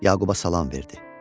Yaquba salam verdi.